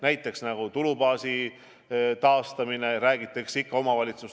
Näiteks tulubaasi taastamine, millest omavalitsustes ikka veel räägitakse.